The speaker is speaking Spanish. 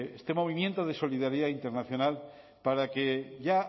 este movimiento de solidaridad internacional para que ya